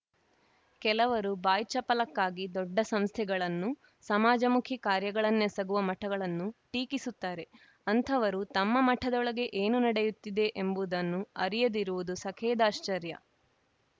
ಕೆಲವರು ಬಾಯ್ಚಪಲಕ್ಕಾಗಿ ದೊಡ್ಡ ಸಂಸ್ಥೆಗಳನ್ನು ಸಮಾಜಮುಖಿ ಕಾರ‍್ಯಗಳನ್ನೆಸಗುವ ಮಠಗಳನ್ನು ಟೀಕಿಸುತ್ತಾರೆ ಅಂಥವರು ತಮ್ಮ ಮಠದೊಳಗೆ ಏನು ನಡೆಯುತ್ತಿದೆ ಎಂಬುದನ್ನು ಅರಿಯದಿರುವುದು ಸಖೇದಾಶ್ಚರ್ಯ